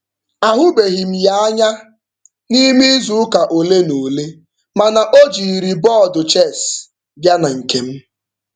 A hụbeghị m ya anya n'ime izuụka ole na ole, ma na o jiri bọọdụ chess bịa na nkem.